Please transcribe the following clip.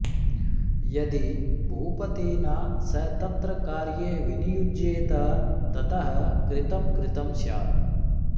यदि भूपतिना स तत्र कार्ये विनियुज्येत ततः कृतं कृतं स्यात्